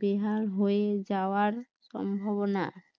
বেহাল হয়ে যাওয়ার সম্ভাবনা